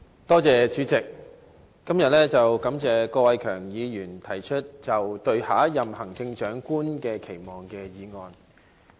代理主席，感謝郭偉强議員今天提出這項"對下任行政長官的期望"的議案。